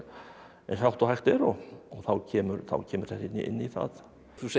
eins hátt og hægt er og þá kemur kemur það inn í það þú segir